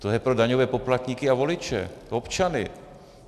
To je pro daňové poplatníky a voliče, občany.